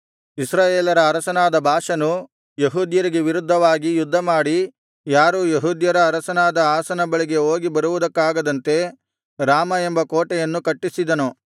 ಇಸ್ರಾಯೇಲರ ಅರಸನಾದ ಬಾಷನು ಯೆಹೂದ್ಯರಿಗೆ ವಿರುದ್ಧವಾಗಿ ಯುದ್ಧಮಾಡಿ ಯಾರೂ ಯೆಹೂದ್ಯರ ಅರಸನಾದ ಆಸನ ಬಳಿಗೆ ಹೋಗಿ ಬರುವುದಕ್ಕಾಗದಂತೆ ರಾಮ ಎಂಬ ಕೋಟೆಯನ್ನು ಕಟ್ಟಿಸಿದನು